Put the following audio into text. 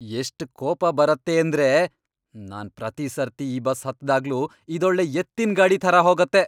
ಎಷ್ಟ್ ಕೋಪ ಬರತ್ತೇಂದ್ರೆ! ನಾನ್ ಪ್ರತಿ ಸರ್ತಿ ಈ ಬಸ್ ಹತ್ದಾಗ್ಲೂ ಇದೊಳ್ಳೆ ಎತ್ತಿನ್ಗಾಡಿ ಥರ ಹೋಗತ್ತೆ.